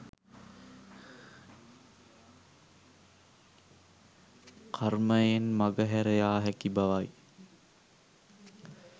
කර්මයෙන් මගහැර යා හැකි බවයි.